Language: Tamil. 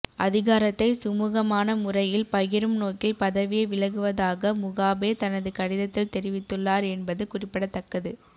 அதிகாரத்தை சுமூகமான முறையில் பகிரும் நோக்கில் பதவியை விலகுவதாக முகாபே தனது கடிதத்தில் தெரிவித்துள்ளார் என்பது குறிப்பிடத்தக்கது